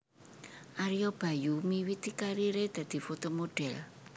Ario Bayu miwiti kariré dadi foto modhèl